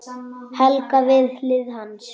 Helga við hlið hans.